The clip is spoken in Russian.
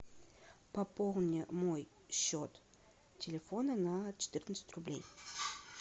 пополни мой счет телефона на четырнадцать рублей